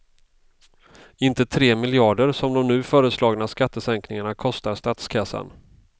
Inte tre miljarder som de nu föreslagna skattesänkningarna kostar statskassan.